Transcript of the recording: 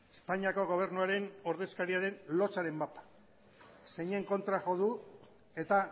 espainiako gobernuaren ordezkariaren lotsaren mapa zeinen kontra jo du eta